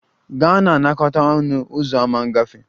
Gaa na-anakọta a ọnụ ụzọ ámá ngafe!